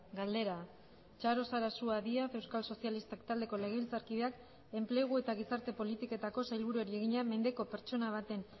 galdera txaro sarasua díaz euskal sozialistak taldeko legebiltzarkideak enplegu eta gizarte politiketako sailburuari egina mendeko pertsona baten